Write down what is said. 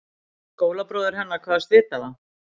Skólabróðir hennar kvaðst vita það.